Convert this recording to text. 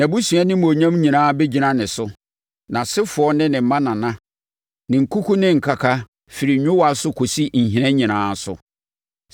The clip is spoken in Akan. Nʼabusua animuonyam nyinaa bɛgyina ne so: nʼasefoɔ ne mma nana, ne nkuku ne nkaka, firi nwowaa so kɔsi nhina nyinaa so.